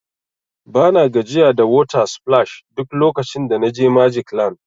Bana gajiya da water splash duk lokacin da na je magic land.